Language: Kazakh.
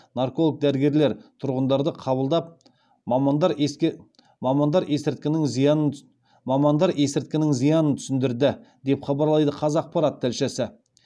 нарколог дәрігерлер тұрғындарды қабылдап мамандар есірткінің зиянын түсіндірді деп хабарлайды қазақпарат тілшісі